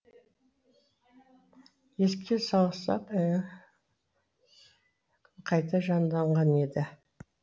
еске салсақ қайта жанданған еді